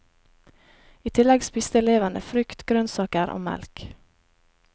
I tillegg spiste elevene frukt, grønnsaker og melk.